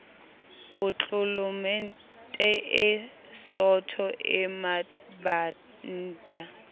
potlolomente e sootho e mabanta